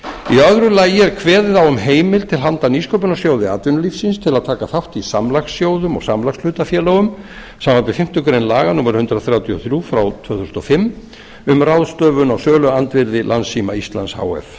í öðru lagi er kveðið á um heimild til handa nýsköpunarsjóði atvinnulífsins til að taka þátt í samlagssjóðum og samlagshlutafélögum samanber fimmtu grein laga númer hundrað þrjátíu og þrjú tvö þúsund og fimm um ráðstöfun á söluandvirði landssíma íslands h f